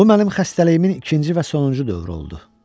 Bu mənim xəstəliyimin ikinci və sonuncu dövrü oldu.